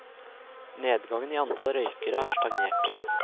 Nedgangen i antall røykere har stagnert.